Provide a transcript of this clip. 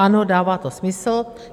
Ano, dává to smysl.